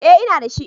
Eh ina da shi.